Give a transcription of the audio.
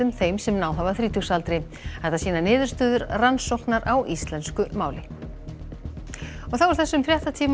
þeim sem náð hafa þrítugsaldri þetta sýna niðurstöður rannsóknar á íslensku máli þessum fréttatíma